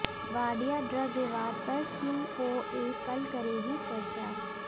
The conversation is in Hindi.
वाडिया ड्रग विवाद पर सीओए कल करेगी चर्चा